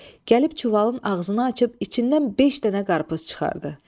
Gəlib çuvalın ağzını açıb içindən beş dənə qarpız çıxardı.